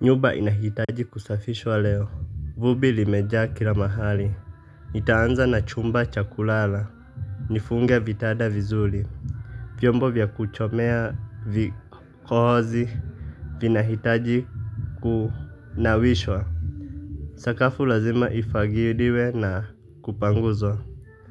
Nyumba inahitaji kusafishwa leo, vumbi limejaa kila mahali, nitaanza na chumba cha kulala, nifunge vitanda vizuri, vyombo vya kuchomea vikohozi, vinahitaji kunawishwa. Sakafu lazima ifagiliwe na kupanguzwa,